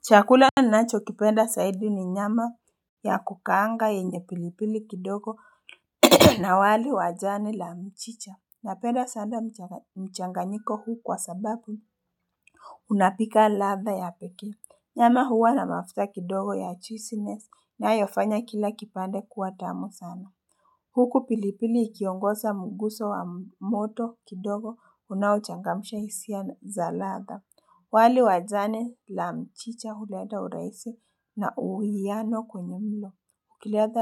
Chakula ninacho kipenda zaidi ni nyama ya kukaanga yenye pilipili kidogo na wali wa jani la mchicha. Na penda sana mchanganyiko huu kwa sababu. Unapika ladha ya pekee. Nyama huwa na mafuta kidogo ya juiceness inayofanya kila kipande kuwa tamu sana. Huku pilipili ikiongoza mguzo wa moto kidogo unaochangamsha hisia za ladha. Wali wa jani la mchicha huleta urahisi na uwiano kwenye mlo.